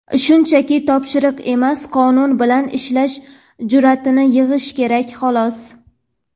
Shunchaki "topshiriq" emas qonun bilan ishlashga jur’atni yig‘ish kerak xolos.